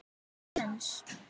Ekki séns.